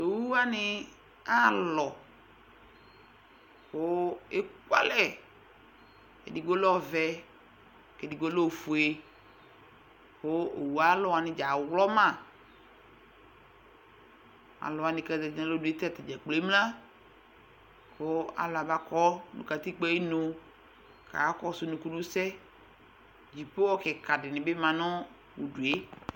owʋwani ahalɔɔ kuʋ ekualɛ edigbolɛ ɔvɛ edigbolɛ oƒʋe kʋ owʋalɔ wanidza aɣlɔma alʋwani kazati nu alɔnʋetaa dzakplo emla kɔ alʋ abakɔ nu katikpoɛ ayinu kakakɔsʋ nukunusɛ dzipohɔ kikadibi ma nʋ udue